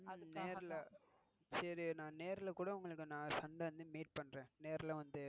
நேர்ல சரி நான் நேரல கூட வந்து மீட் பண்ணறேன்.